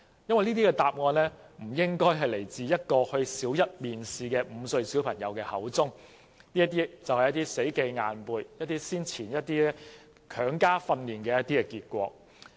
"因為這些答案不可能出自一位參加小一面試的5歲小朋友，而這便是死記硬背或曾經接受強加訓練的結果。